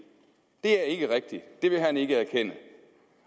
det er ikke rigtigt det vil han ikke erkende